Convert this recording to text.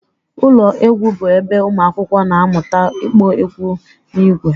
Ụlọ egwu bụ ebe ụmụakwụkwọ na-amụta ịkpọ egwu n'ìgwè